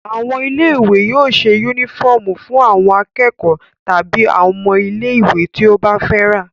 Àwọn ilé-ìwé yóò ṣe únífọ́ọ́mù fún àwọn akẹ́kọ̀ọ́ tàbí ọmọ ilé-ìwé tí ó bá fẹ́ rà.